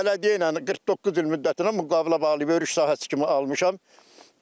Bələdiyyə ilə 49 il müddətinə müqavilə bağlayıb örüş sahəsi kimi almışam.